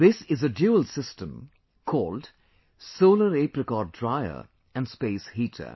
This is a Dual system, called solar Apricot Dryer & space heater